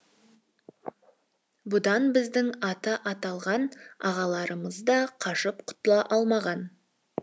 бұдан біздің аты аталған ағаларымыз да қашып құтыла алмаған